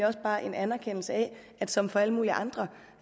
også bare en anerkendelse af at som for alle mulige andre